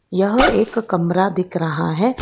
यह एक कमरा दिख रहा है।